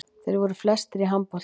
Þeir voru flestir í handboltanum.